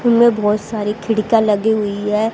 इनमें बहुत सारी खिड़कियां लगी हुई है।